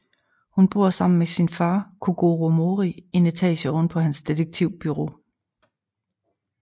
Hun bor sammen med sin far Kogoro Mori en etage ovenpå hans detektivbureau